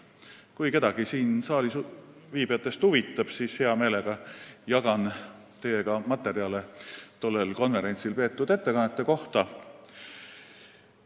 Kui kedagi siin saalis viibijatest huvitab, siis hea meelega jagan teiega materjale tollel konverentsil peetud ettekannete kohta.